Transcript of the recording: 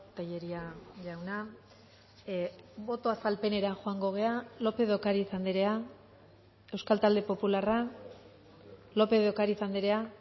telleria jauna boto azalpenera joango gara lópez de ocariz andrea euskal talde popularra lópez de ocariz andrea